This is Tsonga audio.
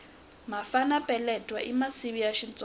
mafana peletwana i masivi ya xitsonga